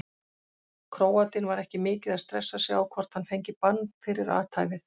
Króatinn var ekki mikið að stressa sig á hvort hann fengi bann fyrir athæfið.